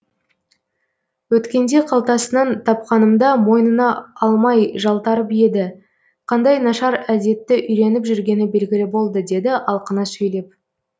өткенде қалтасынан тапқанымда мойнына алмай жалтарып еді қандай нашар әдетті үйреніп жүргені белгілі болды деді алқына сөйлеп